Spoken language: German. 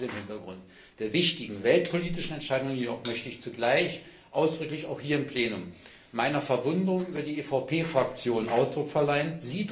Gerade vor dem Hintergrund der wichtigen weltpolitischen Entscheidung jedoch möchte ich zugleich ausdrücklich auch hier im Plenum meiner Verwunderung über die EVP Fraktion Ausdruck verleihen.